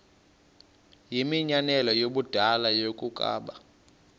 yimianelo yabadala yokaba